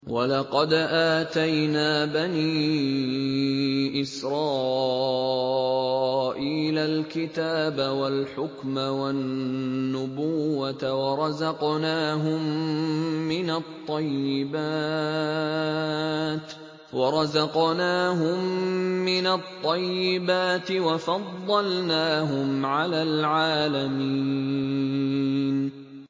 وَلَقَدْ آتَيْنَا بَنِي إِسْرَائِيلَ الْكِتَابَ وَالْحُكْمَ وَالنُّبُوَّةَ وَرَزَقْنَاهُم مِّنَ الطَّيِّبَاتِ وَفَضَّلْنَاهُمْ عَلَى الْعَالَمِينَ